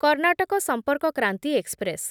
Karnataka Sampark Kranti express